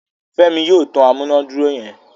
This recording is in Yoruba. Femi yóò tán amunaduro yen.